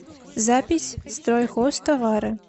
запись стройхозтовары